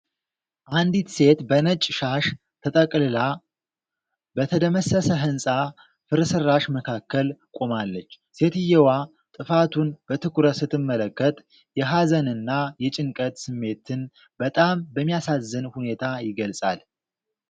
አንዲት ሴት በነጭ ሻሽ ተጠቅልላ፣ በተደመሰሰ ህንፃ ፍርስራሽ መካከል ቆማለች። ሴትየዋ ጥፋቱን በትኩረት ስትመለከት የሀዘንና የጭንቀት ስሜትን በጣም በሚያሳዝን ሁኔታ ይገልጻል።